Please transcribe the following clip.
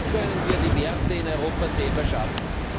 Wie können wir die Werte in Europa selber schaffen?